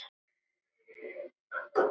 Þá heyrir hún orð afans.